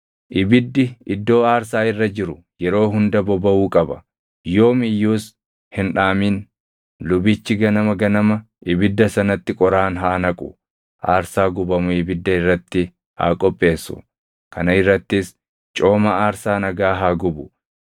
Ibiddi iddoo aarsaa irra jiru yeroo hunda bobaʼuu qaba; yoom iyyuus hin dhaamin. Lubichi ganama ganama ibidda sanatti qoraan haa naqu; aarsaa gubamu ibidda irratti haa qopheessu; kana irrattis cooma aarsaa nagaa haa gubu.